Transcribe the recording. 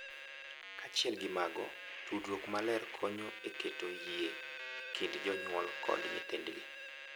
Kaachiel gi mago, tudruok maler konyo e keto yie e kind jonyuol kod nyithindgi,